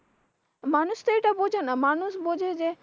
মানুষতো এইটা বোঝেনা মানুষ বোঝে যে,